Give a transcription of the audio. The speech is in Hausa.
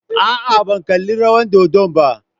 A'a, ban kalli rawar dodon ba.